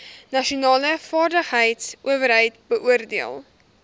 nasionale vaardigheidsowerheid beoordeel